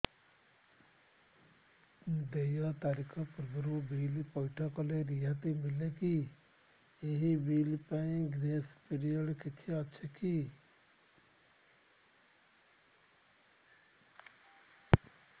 ଦେୟ ତାରିଖ ପୂର୍ବରୁ ବିଲ୍ ପୈଠ କଲେ ରିହାତି ମିଲେକି ଏହି ବିଲ୍ ପାଇଁ ଗ୍ରେସ୍ ପିରିୟଡ଼ କିଛି ଅଛିକି